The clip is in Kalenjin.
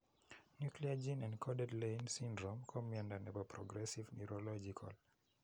Nuclear gene encoded Leigh syndrome ko miondo nepo progressive neurological.